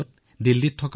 যেতিয়া তেওঁ উভতি আহিল